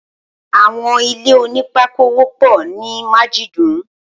Awọn ilé ónìpàkó wọpọ ni màjidùún